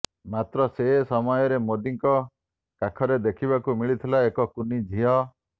ମାତ୍ର ସେ ସମୟରେ ମୋଦୀଙ୍କ କାଖରେ ଦେଖିବାକୁ ମିଳିଥିଲା ଏକ କୁନି ଝିଅ